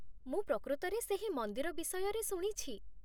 ମୁଁ ପ୍ରକୃତରେ ସେହି ମନ୍ଦିର ବିଷୟରେ ଶୁଣିଛି।